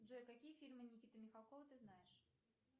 джой какие фильмы никиты михалкова ты знаешь